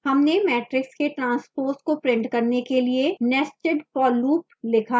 हमने matrix के transpose को print करने के लिए nested for loop लिखा है